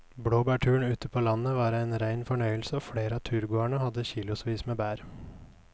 Blåbærturen ute på landet var en rein fornøyelse og flere av turgåerene hadde kilosvis med bær.